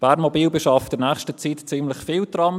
Bernmobil beschafft in nächster Zeit ziemlich viele Trams.